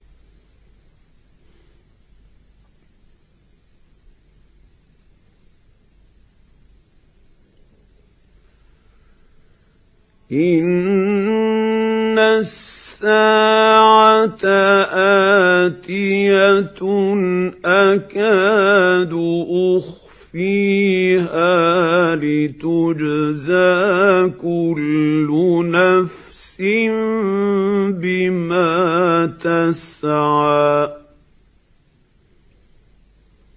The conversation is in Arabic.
إِنَّ السَّاعَةَ آتِيَةٌ أَكَادُ أُخْفِيهَا لِتُجْزَىٰ كُلُّ نَفْسٍ بِمَا تَسْعَىٰ